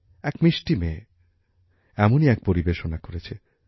এক মিষ্টি মেয়ে এমনই এক পরিবেশনা করেছে